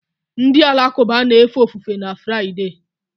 Ndị Alakụba na-efe ofufe na Fraịde